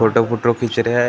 Photo वोटो खींच रहे हैं ।